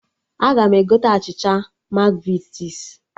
Aga m egote achịcha Makvitis